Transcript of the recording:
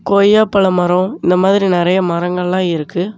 கொய்யாப்பழ மரம் இந்த மாதிரி நெறய மரங்கெல்லாம் இருக்கு.